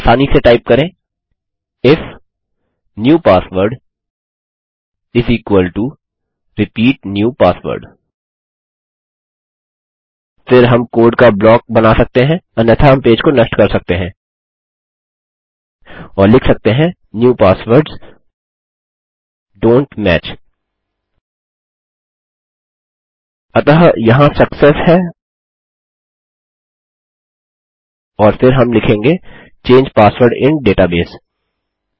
अब आसानी से टाइप करें if new password is equal to repeat new password फिर हम कोड का ब्लॉक बना सकते हैं अन्यथा हम पेज को नष्ट कर सकते हैं और लिख सकते हैं न्यू पासवर्ड्स डोंट match अतः यहाँ सक्सेस है और फिर हम लिखेंग चंगे पासवर्ड इन डेटाबेस